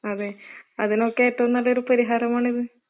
അതെ, അതിനൊക്കെ ഏറ്റവും നല്ലൊരു പരിഹാരമാണിത്.